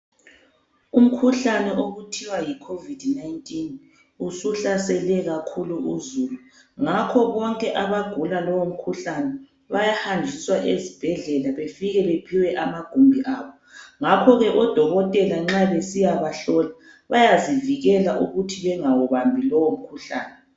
Umkhuhlane okuthiwa yi Covid 19 usuhlasele kakhulu uzulu. Ngakho bonke abagula lowomkhuhlane bayahanjiswa ezibhedlela befike bephiwe amagumbi abo. Ngakho ke odokotela nxa besiyabahlola bayazivikela ukuthi bengawubambi lowomkhuhlane.